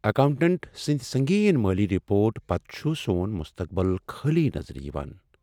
Accountant سٕندۍ سنگین مٲلی رپورٹ پتہٕ چھ سون مستقبل خٲلی نظر یوان۔